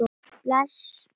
Er eitthvað að rofa til?